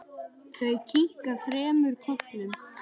Þau kinka þremur kollum.